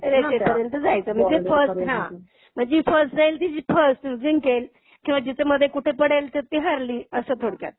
रेषेपर्यंत जायचं म्हणजे फर्स्ट हां. म्हणजे फर्स्ट जाईल ती फर्स्ट जिंकेल. किंवा जिथे मधे कुठे पडेल तिथं ती हरली. असं थोडक्यात.